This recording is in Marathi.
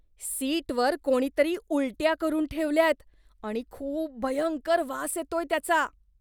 सिटवर कोणीतरी उलट्या करून ठेवल्यात आणि खूप भयंकर वास येतोय त्याचा.